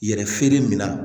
Yɛrɛ feere min na